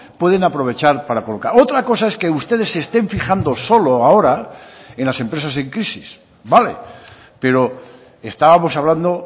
pueden aprovechar para colocar otra cosa es que ustedes se estén fijando solo ahora en las empresas en crisis vale pero estábamos hablando